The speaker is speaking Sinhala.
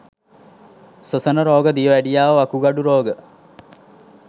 ස්වසන රෝග දියවැඩියාව වකුගඩු රෝග